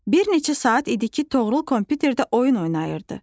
Bir neçə saat idi ki, Toğrul kompüterdə oyun oynayırdı.